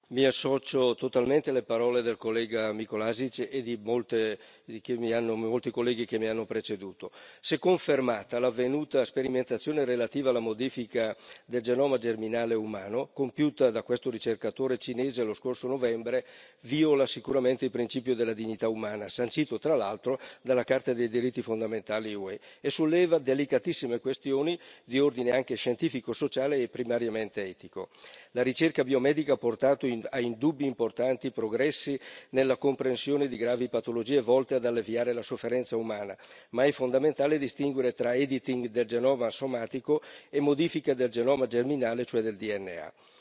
Signora Presidente, onorevoli colleghi, mi associo totalmente alle parole del collega Mikolášik e di molti colleghi che mi hanno preceduto. Se confermata, l'avvenuta sperimentazione relativa alla modifica del genoma germinale umano, compiuta da questo ricercatore cinese lo scorso novembre, viola sicuramente il principio della dignità umana, sancito tra l'altro dalla Carta dei diritti fondamentali dell'UE, e solleva delicatissime questioni di ordine anche scientifico, sociale e primariamente etico. La ricerca biomedica ha portato a indubbi e importanti progressi nella comprensione di gravi patologie, volti ad alleviare la sofferenza umana, ma è fondamentale distinguere tra editing del genoma somatico e modifica del genoma germinale, cioè del DNA.